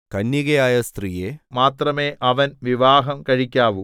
കന്യകയായ സ്ത്രീയെ മാത്രമേ അവൻ വിവാഹം കഴിക്കാവൂ